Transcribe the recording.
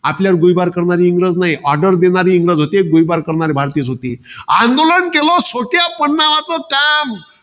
आपल्यावर गोळीबार करणारे इंग्रज नाही. Order करणारे इंग्रज होते. गोळीबार करणारे, भारतीयाच होते. आंदोलन केलं, स्वकीय